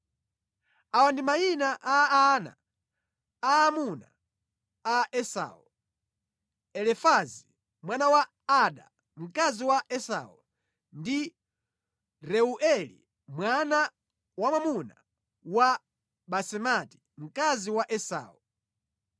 Awa ndi mayina a ana aamuna a Esau: Elifazi, mwana wa Ada, mkazi wa Esau, ndi Reueli, mwana wamwamuna wa Basemati, mkazi wa Esau.